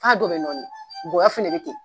nkɔyɔ fɛnɛ bɛ ten